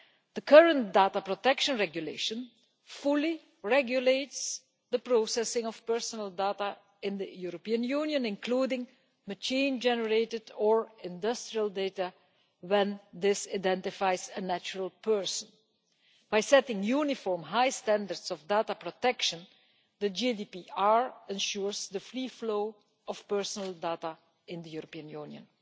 The current Data Protection Regulation fully regulates the processing of personal data in the European Union, including machine generated or industrial data when this identifies a natural person. By setting uniform high standards of data protection, the General Data Protection Regulation ensures the free flow of personal data in the European Union.